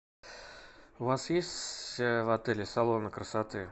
у вас есть в отеле салоны красоты